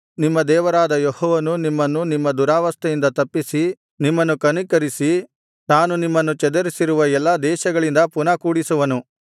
ನಿಮ್ಮ ದೇವರಾದ ಯೆಹೋವನು ದುರವಸ್ಥೆಯಿಂದ ನಿಮ್ಮನ್ನು ತಪ್ಪಿಸಿ ನಿಮ್ಮನ್ನು ಕನಿಕರಿಸಿ ತಾನು ನಿಮ್ಮನ್ನು ಚದರಿಸಿರುವ ಎಲ್ಲಾ ದೇಶಗಳಿಂದ ಪುನಃ ಕೂಡಿಸುವನು